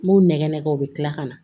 N b'o nɛgɛnɛgɛ o bɛ kila ka na